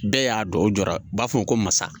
Bɛɛ y'a don o jɔra, u b'a fɔ o ma ko masa.